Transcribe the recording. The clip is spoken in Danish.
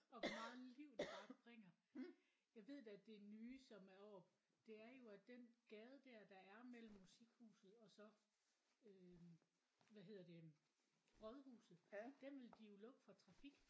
Og hvor meget liv det bare bringer. Jeg ved da at nye som er oppe det er jo at den gade der der er mellem Musikhuset og så øh hvad hedder det rådhuset den vil de jo lukke for trafik